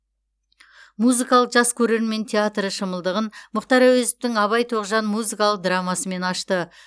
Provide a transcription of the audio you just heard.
музыкалық жас көрермен театры шымылдығын мұхтар әуезовтің абай тоғжан музыкалық драмасымен ашты